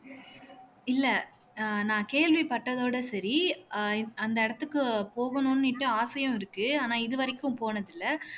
இல்லை அஹ் நான் கேள்விப்பட்டதோட சரி அஹ் அந்த இடத்துக்கு போகணும்னுட்டு ஆசையும் இருக்கு ஆனா இது வரைக்கும் போனதில்லை